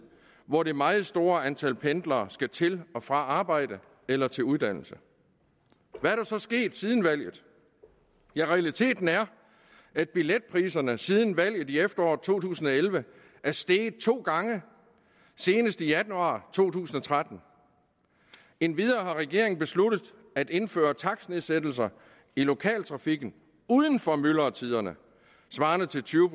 hvor det meget store antal pendlere skal til og fra arbejde eller til uddannelse hvad er der så sket siden valget realiteten er at billetpriserne siden valget i efteråret to tusind og elleve er steget to gange senest i januar to tusind og tretten endvidere har regeringen besluttet at indføre takstnedsættelser i lokaltrafikken uden for myldretiderne svarende til tyve